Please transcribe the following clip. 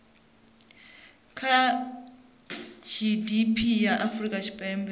kha gdp ya afrika tshipembe